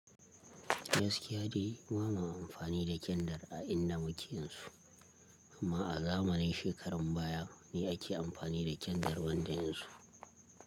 Gaskiya dai ba ma amfani da kyandar a inda muke yanzu, amma a zamanin shekarun baya ne ake amfani da kyandar banda yanzu.